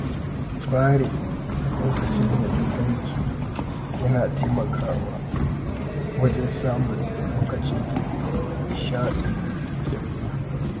Ware lokacin yin aiki yana taimakawa wajen samun lokacin nishaɗi da hutu.